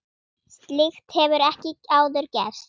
Slíkt hefur ekki áður gerst.